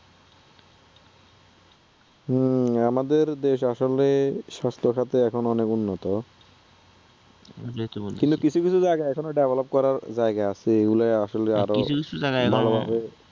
হুম আমাদের দেশ আসলে স্বাস্থ্যখাতে এখন অনেক উন্নত, এটাই তো বলতেছি তবে কিছু কিছু জায়গা এখনো develop করার জায়গা আছে এগুলা আসলে আরও, কিছু কিছু জায়গা এখনও, এগুলা ভালোভাবে